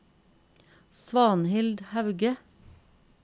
Svanhild Hauge